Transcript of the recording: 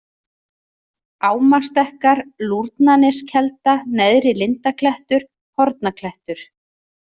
Ámastekkar, Lúrnaneskelda, Neðri-Lindaklettur, Hornaklettur